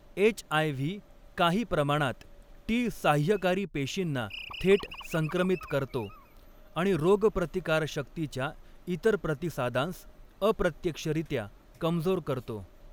H. I. V काही प्रमाणात T साह्यकारी पेशींना थेट संक्रमित करतो आणि रोगप्रतिकारशक्तीच्या इतर प्रतिसादांस अप्रत्यक्षरित्या कमजोर करतो.